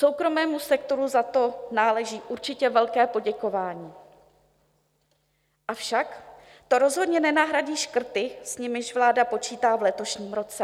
Soukromému sektoru za to náleží určitě velké poděkování, avšak to rozhodně nenahradí škrty, s nimiž vláda počítá v letošním roce.